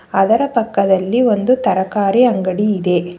ಆದರ ಪಕ್ಕದಲ್ಲಿ ಒಂದು ತರಕಾರಿ ಅಂಗಡಿ ಇದೆ.